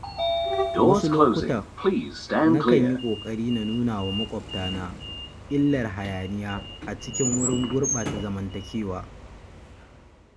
Wasu lokuta, nakan yi ƙoƙari na nuna wa maƙwabtana illar hayaniya a cikin wurin gurɓata zamantakewa.